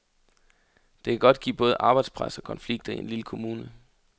Det kan godt give både arbejdspres og konflikter i en lille kommune.